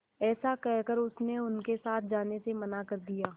ऐसा कहकर उसने उनके साथ जाने से मना कर दिया